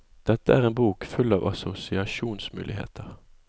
Dette er en bok full av assosiasjonsmuligheter.